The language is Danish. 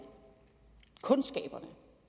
kundskaberne